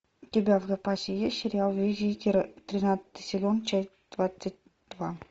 у тебя в запасе есть сериал визитеры тринадцатый сезон часть двадцать два